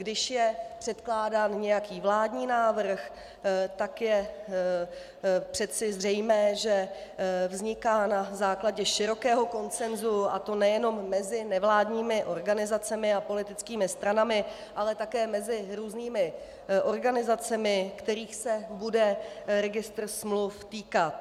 Když je předkládán nějaký vládní návrh, tak je přece zřejmé, že vzniká na základě širokého konsensu, a to nejenom mezi nevládními organizacemi a politickými stranami, ale také mezi různými organizacemi, kterých se bude registr smluv týkat.